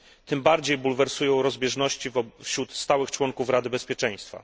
Tym bardziej bulwersują rozbieżności wśród stałych członków Rady Bezpieczeństwa.